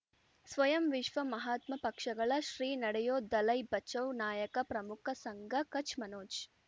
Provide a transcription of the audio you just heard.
ಸ್ವಯಂ ವಿಶ್ವ ಮಹಾತ್ಮ ಪಕ್ಷಗಳ ಶ್ರೀ ನಡೆಯೂ ದಲೈ ಬಚೌ ನಾಯಕ ಪ್ರಮುಖ ಸಂಘ ಕಚ್ ಮನೋಜ್